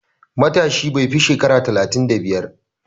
Matashi bai fi shekara talatin da biyar.